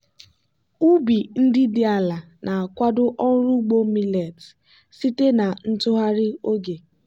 ubi ndị dị ala na-akwado ọrụ ugbo millet site na ntụgharị oge.